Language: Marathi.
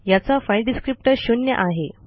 याचा फाइल डिस्क्रिप्टर शून्य आहे